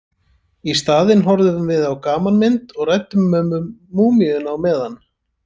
Í staðinn horfðum við á gamanmynd og ræddum um múmíuna á meðan.